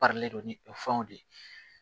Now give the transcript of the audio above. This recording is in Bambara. Bari don ni o fɛnw de ye